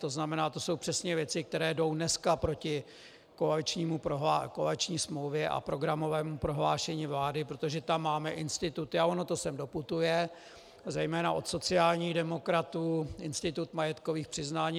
To znamená, to jsou přesně věci, které jdou dneska proti koaliční smlouvě a programovému prohlášení vlády, protože tam máme instituty, a ono to sem doputuje, zejména od sociálních demokratů, institut majetkových přiznání.